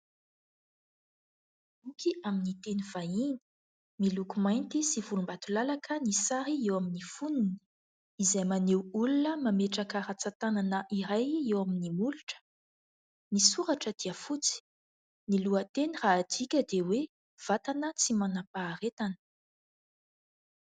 Boky amin'ny teny vahiny miloko mainty sy vonimbatolalaka, ny sary eo amin'ny foniny izay maneho olona mametraka rantsatanana iray eo amin'ny molotra, ny soratra dia fotsy, ny lohanteny raha adika dia hoe : vatana tsy manam-paharetana.